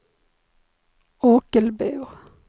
Ockelbo